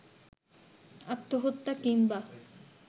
আত্মহত্যা কিংবা